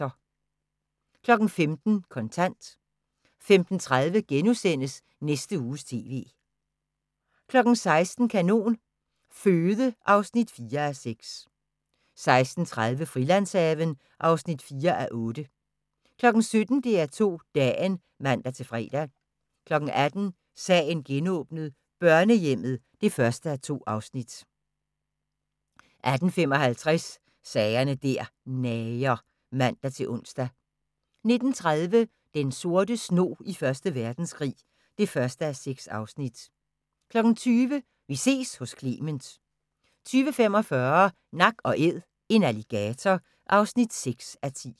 15:00: Kontant 15:30: Næste Uges TV * 16:00: Kanon Føde (4:6) 16:30: Frilandshaven (4:8) 17:00: DR2 Dagen (man-fre) 18:00: Sagen genåbnet : Børnehjemmet (1:2) 18:55: Sager der nager (man-ons) 19:30: Den sorte snog i Første Verdenskrig (1:6) 20:00: Vi ses hos Clement 20:45: Nak & Æd – en alligator (6:10)